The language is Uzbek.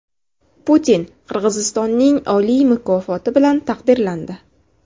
Putin Qirg‘izistonning oliy mukofoti bilan taqdirlandi.